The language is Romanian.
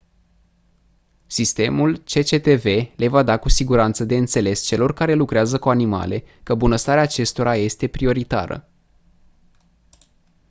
sistemul cctv le va da cu siguranță de înțeles celor care lucrează cu animale că bunăstarea acestora este prioritară